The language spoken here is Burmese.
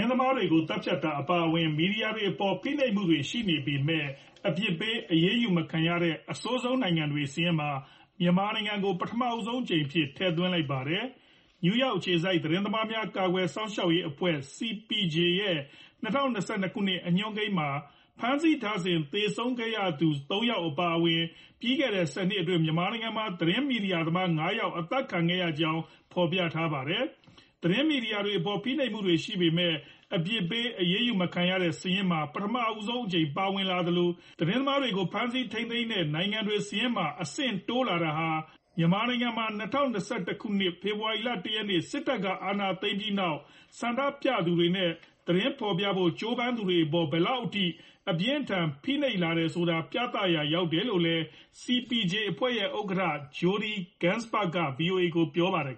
င်းသမားတွေကို သတ်ဖြတ်တာ အပါအဝင် မီဒီယာတွေအပေါ် ဖိနှိပ်မှုတွေ ရှိနေပေမဲ့ အပြစ်ပေး အရေးယူမခံရတဲ့ အဆိုးဆုံးနိုင်ငံတွေ စာရင်းမှာ မြန်မာနိုင်ငံကို ပထမဆုံးအကြိမ်အဖြစ် ထည့်သွင်းလိုက်ပါတယ်။ နယူးယောက် အခြေစိုက် သတင်းသမားများ ကာကွယ်စောင့်ရှောက်ရေးအဖွဲ့ (CPJ) ရဲ့ ၂၀၂၂ ခုနှစ် အညွှန်းကိန်းမှာ ဖမ်းဆီးထားစဉ် သေဆုံးခဲ့ရသူ ၃ ယောက် အပါအဝင် လွန်ခဲ့တဲ့ ၁၀ နှစ်အတွင်း မြန်မာနိုင်ငံမှာ သတင်းမီဒီယာသမား ၅ ယောက် အသတ်ခံခဲ့ရကြောင်း ဖော်ပြခဲ့တာပါ။ သတင်းမီဒီယာတွေအပေါ် ဖိနှိပ်မှုတွေ ရှိပေမဲ့ အပြစ်ပေးအရေးယူမခံရတဲ့ စာရင်းမှာ ပထမဆုံးအကြိမ် ပါဝင်လာသလို၊ သတင်းသမားတွေကို ဖမ်းဆီးထိန်းသိမ်းမှုတွေများတဲ့ နိုင်ငံတွေ စာရင်းမှာ အဆင့်တိုးလာတာတွေဟာ မြန်မာနိုင်ငံမှာ ၂၀၂၁ ခုနှစ် ဖေဖော်ဝါရီလ ၁ ရက်နေ့ စစ်တပ်က အာဏာသိမ်းပြီးနောက် ဆန္ဒပြသူတွေနဲ့ သတင်းဖော်ပြဖို့ ကြိုးပမ်းသူတွေအပေါ် ဘယ်လောက်အထိ အပြင်းအထန် ဖိနှိပ်လာတယ်ဆိုတာ ပြသရာ ရောက်တယ်လို့လည်း CPJ အဖွဲ့ရဲ့ ဥက္ကဌ Jodie Ginsberg က VOA ကို ပြောပါတယ်